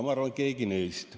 Ma arvan, et keegi neist.